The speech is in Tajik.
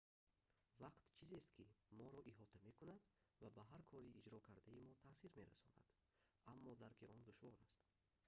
вақт чизест ки моро иҳота мекунад ва ба ҳар кори иҷро кардаи мо таъсир мерасонад аммо дарки он душвор аст